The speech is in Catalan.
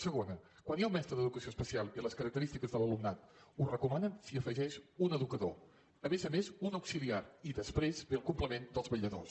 segona quan hi ha un mestre d’educació especial i les característiques de l’alumnat ho recomanen s’hi afegeix un educador a més a més un auxiliar i després ve el complement dels vetlladors